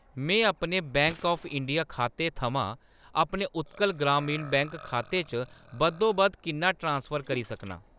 में अपने Bank of India खाते थमां अपने उत्कल ग्रामीण बैंक खाते च बद्धोबद्ध किन्ना ट्रांसफर करी सकनां ?